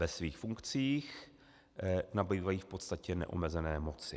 Ve svých funkcích nabývají v podstatě neomezené moci.